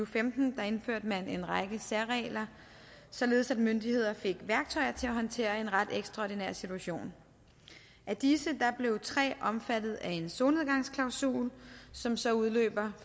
femten indførte man en række særregler således at myndigheder fik værktøjer til at håndtere en ret ekstraordinær situation af disse blev tre omfattet af en solnedgangsklausul som så udløber